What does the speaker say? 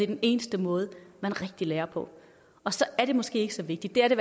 den eneste måde man rigtig lærer på og så er det måske ikke så vigtigt det er det